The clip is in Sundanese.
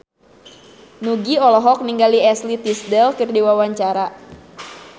Nugie olohok ningali Ashley Tisdale keur diwawancara